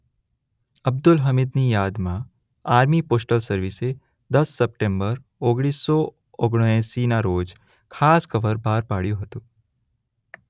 અબ્દુલ હમીદની યાદમાં army postal સર્વિસે દસ સપ્ટેમ્બર ઓગણીસ સો ઓગણાએસી રોજ ખાસ કવર બહાર પાડ્યું હતું.